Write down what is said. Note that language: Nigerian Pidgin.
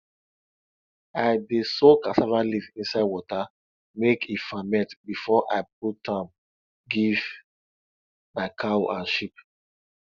i dey soak cassava leaf inside water make e ferment before i put am give my cow and sheep